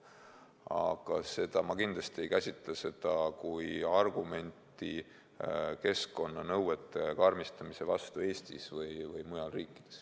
Aga ma kindlasti ei käsita seda kui argumenti keskkonnanõuete karmistamise vastu Eestis või mujal riikides.